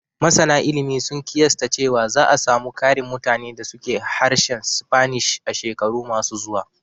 Masana ilimi sun ƙiyasta cewa za a samu ƙarin mutane da su ke harshen Spanish a shekaru ma su zuwa